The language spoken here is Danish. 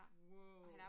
Wow